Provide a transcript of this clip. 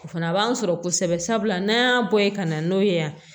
O fana b'an sɔrɔ kosɛbɛ sabula n'an y'a bɔ yen ka na n'o ye yan